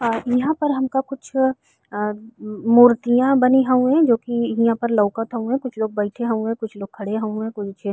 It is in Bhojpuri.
अ इहा पर हमका कुछ अ मूर्तियां बनी हउए जोकि हिया पे लउकत हउवे कुछ लोग बइठे हउवे कुछ लोग खड़े हउवे कुछ --